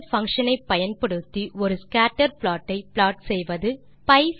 1scatter function ஐ பயன்படுத்தி ஒரு ஸ்கேட்டர் ப்ளாட் ஐ ப்ளாட் செய்வது 2